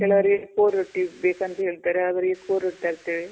ಕೆಲವರಿಗೆ ಕೋರೊಟ್ಟಿ ಬೇಕಂತ ಹೇಳ್ತಾರೆ.ಅವರಿಗೆ ಕೋರೊಟ್ಟಿ ತರ್ತೇವೆ.